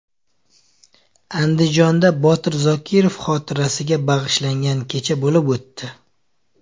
Andijonda Botir Zokirov xotirasiga bag‘ishlangan kecha bo‘lib o‘tdi.